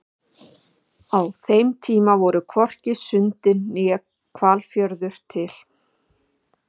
á þeim tíma voru þó hvorki sundin né hvalfjörður til